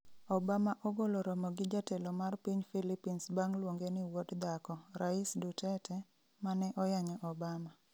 Obama ogolo romo gi jatelo mar piny Philippines bang' luonge ni "wuod dhako" rais Duterte, mane oyanyo Obama.